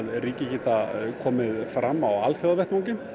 ríki geta komið fram á alþjóðavettvangi